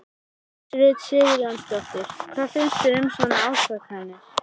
Hjördís Rut Sigurjónsdóttir: Hvað finnst þér um svona ásakanir?